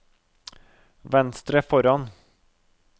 venstre foran